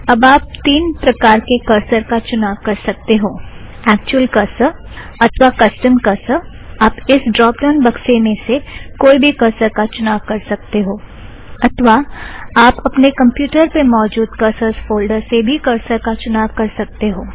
अब आप तीन प्रकार के करसर का चुनाव कर सकते हो - ऐक्चुअल करसर अथ्वा कस्टम करसर - आप इस ड़्रोप ड़ाउन बक्से में से कोई भी करसर का चुनाव कर सकते हो अथ्वा आप अपने कमप्युटर पे मौजुद करसरस फ़ोलड़र से भी करसर का चुनाव कर सकते हो